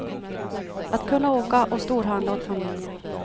Att kunna åka och storhandla åt familjen.